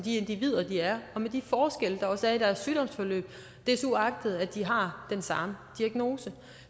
de individer de er og med de forskelle der også er i deres sygdomsforløb desuagtet at de har den samme diagnose